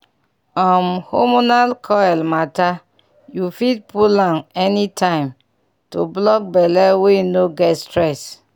um hormonal coil matter you fit pull am anytime - to block belle wey no get stress